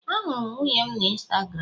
Ahụrụ m nwunye m na Instagram